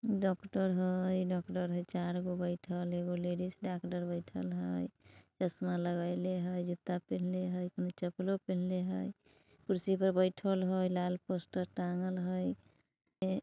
डाक्टर है डाक्टर है चार गो बैठल हय एगो लेडिज डाक्टर बैठल हय चसमा लगाईले हय जूता पहनले हय चपलो पहनले हय कुर्सी पर बैठल हय लाल पोस्टर टाँगल हय| ए--